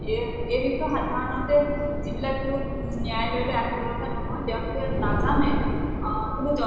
এই এই বিষয়ে সাধাৰণতে যিবিলাক ন্য়ায়ালয়্লৈ আহিব লগা নহয়, তেওঁলোকে নাজানে, কিন্তু